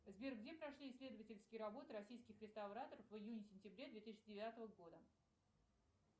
сбер где прошли исследовательские работы российских реставраторов в июне сентябре две тысячи девятого года